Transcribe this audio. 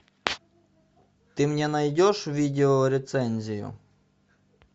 ты мне найдешь видео рецензию